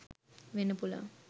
වෙන්න පුළුවන්.